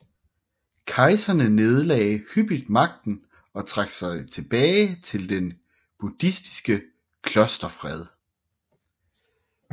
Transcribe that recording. Kejserne nedlagde hyppigt magten og trak sig tilbage til den buddhistiske klosterfred